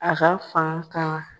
A ka fan kama.